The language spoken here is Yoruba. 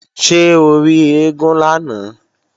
Ṣé o rí eégún lánàá?